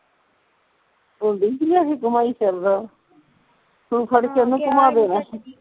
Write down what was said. ਭੂੰਡੀ ਜੀ ਲੈ ਕੇ ਘੁੰਮਾ ਫਿਰਦਾ ਤੂੰ ਫੜ ਕੇ ਉਹਨੂੰ ਘੁੰਮਾ ਦੇਣਾ ਹੀ